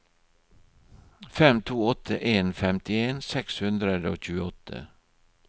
fem to åtte en femtien seks hundre og tjueåtte